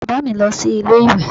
Bàbá mi lọ sí ilé ìwè